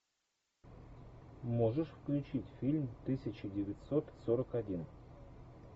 можешь включить фильм тысяча девятьсот сорок один